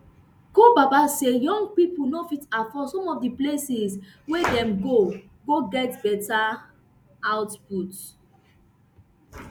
ko baba say young pipo no fit afford some of di places wia dem go go get beta output